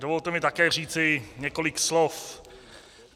Dovolte mi také říci několik slov.